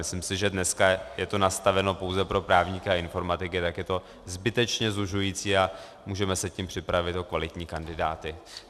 Myslím si, že dneska je to nastaveno pouze pro právníky a informatiky, tak je to zbytečně zužující a můžeme se tím připravit o kvalitní kandidáty.